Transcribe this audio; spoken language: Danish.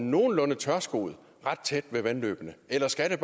nogenlunde tørskoet ret tæt ved vandløbene eller skal